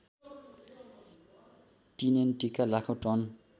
टिएनटिका लाखौँ टन